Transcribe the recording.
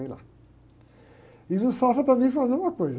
lá, e no Safra também foi a mesma coisa.